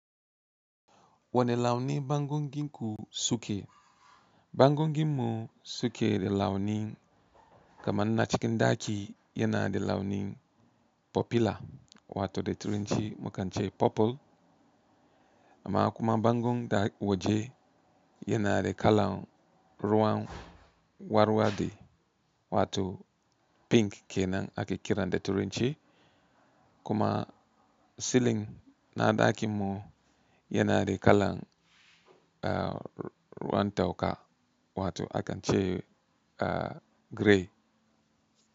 Wane launin bango ginku suke? Bangon ginmu suke da launin, kamar na cikin ɗaki yana da launin popular wato da turanci mukan ce purple. Amma kuma bangon da yake waje yana da kalan ruwan warwaɗe wato pink kenan ake kira da turanci. Kuma silin na ɗakinmu yana da kalan ruwan toka wato akance grey.